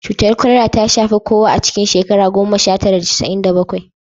Cutar kwalara ta shafi kowa a cikin shekara goma sha tara da casa'in da bakwai